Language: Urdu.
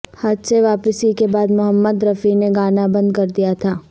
حج سے واپسی کے بعد محمد رفیع نے گانا بند کر دیا تھا